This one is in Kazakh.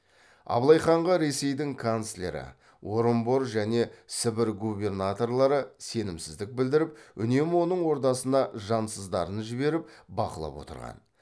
абылай ханға ресейдің канцлері орынбор және сібір губернаторлары сенімсіздік білдіріп үнемі оның ордасына жансыздарын жіберіп бақылап отырған